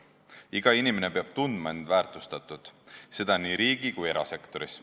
Iga inimene peab tundma, et on väärtustatud, seda nii riigi- kui ka erasektoris.